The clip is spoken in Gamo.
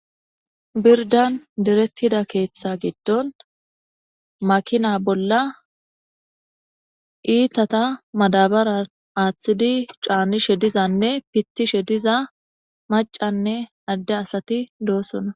Birdan diretida ketha gidon makina bolla itata madabare atidi ca'nishe dizayissanne pitishe diza mac'a nne ade asati dosona